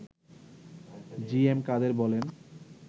জি M Quader বলেন